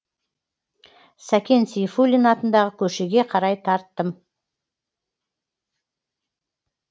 сәкен сейфуллин атындағы көшеге қарай тарттым